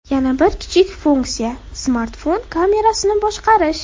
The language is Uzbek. Yana bir kichik funksiya smartfon kamerasini boshqarish.